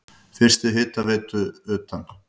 Fyrstu hitaveitu utan